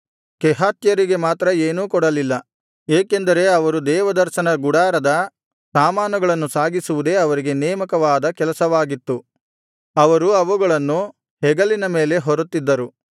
ಕೆಹಾತ್ಯರಿಗೆ ಮಾತ್ರ ಏನೂ ಕೊಡಲಿಲ್ಲ ಏಕೆಂದರೆ ಅವರು ದೇವದರ್ಶನ ಗುಡಾರದ ಸಾಮಾನುಗಳನ್ನು ಸಾಗಿಸುವುದೇ ಅವರಿಗೆ ನೇಮಕವಾದ ಕೆಲಸವಾಗಿತ್ತು ಅವರು ಅವುಗಳನ್ನು ಹೆಗಲಿನ ಮೇಲೆ ಹೊರುತ್ತಿದ್ದರು